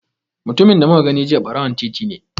Mutumin da muka gani jiya ɓarawon titi ne.